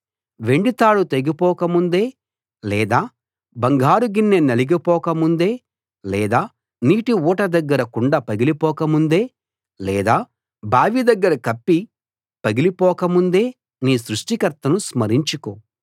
వెండి తాడు తెగిపోక ముందే లేదా బంగారు గిన్నె నలిగిపోక ముందే లేదా నీటి ఊట దగ్గర కుండ పగిలిపోక ముందే లేదా బావి దగ్గర కప్పీ పగిలి పోక ముందే నీ సృష్టికర్తను స్మరించుకో